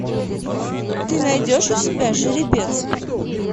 ты найдешь у себя жеребец